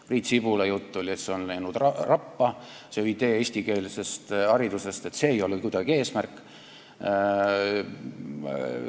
Priit Sibula jutt oli, et see eestikeelse hariduse idee on läinud rappa, et see ei ole kuidagi eesmärk.